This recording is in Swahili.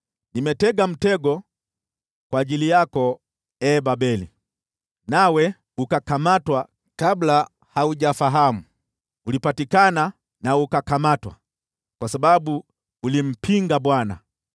Nimetega mtego kwa ajili yako, ee Babeli, nawe ukakamatwa kabla haujafahamu; ulipatikana na ukakamatwa kwa sababu ulimpinga Bwana .